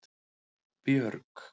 Björg